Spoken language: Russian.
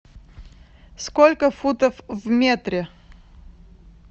сколько футов в метре